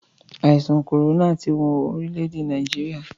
Àìsàn kòrónà ti wọn orílè-èdè Nàìjíríà.